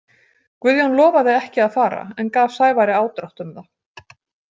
Guðjón lofaði ekki að fara en gaf Sævari ádrátt um það.